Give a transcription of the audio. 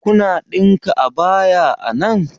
Kuna ɗinka abaya a nan?